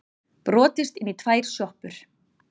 Brotist inn í tvær sjoppur